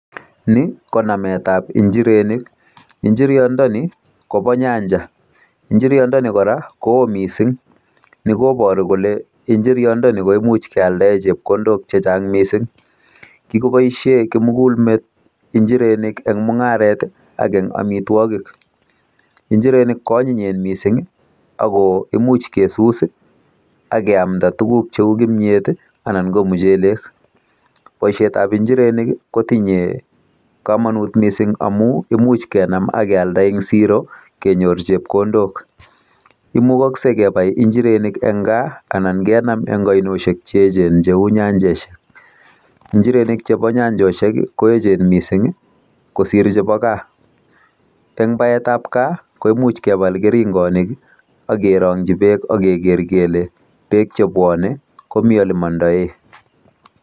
Ni konametab injirenik. Injiriondoni kobo nyanja. Injiriondoni kora koo mising. Ni kobaru kole injiriondoni koimuch keale chepkondok che chang mising. Kikoboisie kimugul met injirenik eng mungaret ak eng amitwogik. Injirenik ko anyinyen mising ago imuch kesus ak keamnda tuguk cheu kimyet anan ko muchelek. Boisiet ab injirenik kotinyei kamanut mising amu imuch kenam ak kealda eng siro kenyor chepkondok. Imukakse kebai injirenik eng kaa anan kenam eng ainosiek che eechen cheu nyanjesiek. Injirenik chebo nyanchosiek ko eechen mising kosir chebo kaa. Eng baetab kaa koimuch kebal keringonik ak kerongyi beekak keker kele beek chebwone komi olemondoe.